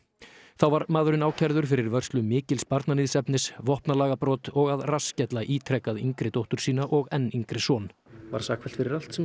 þá var maðurinn ákærður fyrir vörslu mikils barnaníðsefnis vopnalagabrot og að rassskella ítrekað yngri dóttur sína og enn yngri son var sakfellt fyrir allt sem